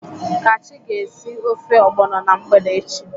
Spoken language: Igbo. Kachi ga esi ofe ogbono na mgbede echi.